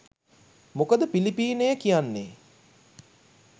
මොකද පිලිපීනය කියන්නේ